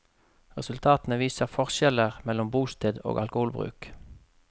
Resultatene viser forskjeller mellom bosted og alkoholbruk.